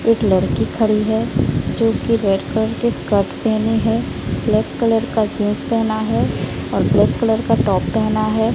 एक लड़की खड़ी है जो की रेड कलर की स्कर्ट पहनी है ब्लैक कलर का जींस पहना है और ब्लैक कलर का टॉप पहना है।